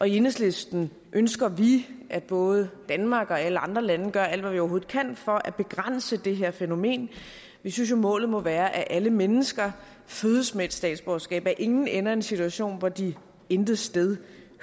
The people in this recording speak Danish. i enhedslisten ønsker vi at både danmark og alle andre lande gør alt hvad vi overhovedet kan for at begrænse det her fænomen vi synes jo målet må være at alle mennesker fødes med et statsborgerskab og at ingen ender i en situation hvor de intet sted